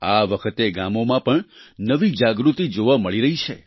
આ વખતે ગામોમાં પણ નવી જાગૃતિ જોવા મળી રહી છે